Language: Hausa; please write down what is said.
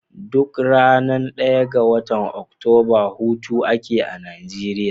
Duk ranar daya ga watan oktoba hutu ake a Nigeria.